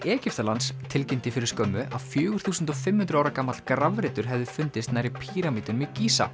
Egyptalands tilkynnti fyrir skömmu að fjögur þúsund og fimm hundruð ára gamall grafreitur hefði fundist nærri píramídunum í